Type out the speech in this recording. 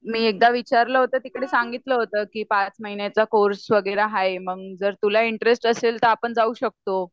मी एकदा विचारल होतं तर तिकडे सांगितल होतं की पाच महीन्याचा कोर्स वैगरे आहे मग जर तुला इनट्रेस असेल तर आपण जाऊ शकतो.